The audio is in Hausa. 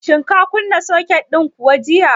Shin ka kunna soket din kuwa jiya?